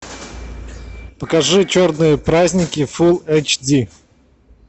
покажи черные праздники фул эйч ди